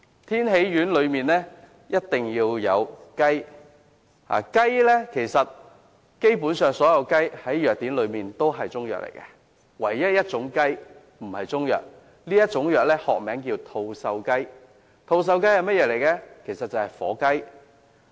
天喜丸的成分必須包括雞，而基本上所有雞隻在藥典中也屬於中藥，除了一種雞不屬於中藥，學名叫吐綬雞，即是火雞。